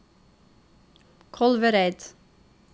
Kolvereid